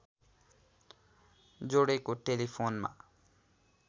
जोडेको टेलिफोनमा